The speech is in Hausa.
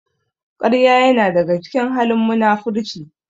Ƙarya ya na daga cikin halin munafurci